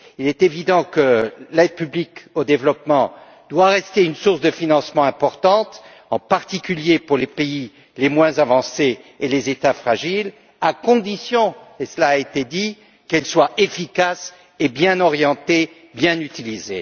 Il est évident que l'aide publique au développement doit rester une source de financement importante, en particulier, pour les pays les moins avancés et les États fragiles, à condition, et cela a été dit, qu'elle soit efficace et bien orientée, bien utilisée.